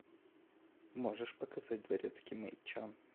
можешь показать дворецкий мэй чан